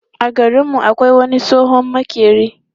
A garin mu akwai wani tsohon maƙeri.